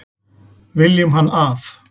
Viljum hann af.